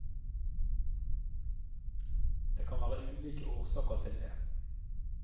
Det kan være ulike årsaker til det.